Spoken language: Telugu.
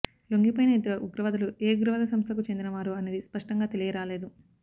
లొంగిపోయిన ఇద్దరు ఉగ్రవాదులు ఏ ఉగ్రవాద సంస్థకు చెందినవారో అనేది స్పష్టంగా తెలియరాలేదు